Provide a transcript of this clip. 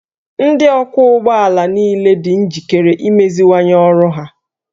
Ndị ọkwọ ụgbọ ala niile dị njikere imeziwanye ọrụ ha